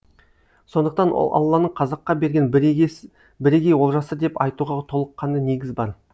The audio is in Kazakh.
сондықтан ол алланың қазаққа берген бірегей олжасы деп айтуға толыққанды негіз бар